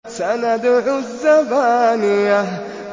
سَنَدْعُ الزَّبَانِيَةَ